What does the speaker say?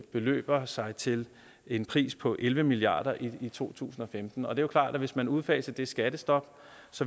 beløber sig til en pris på elleve milliard kroner i to tusind og femten og det er klart at hvis man udfasede det skattestop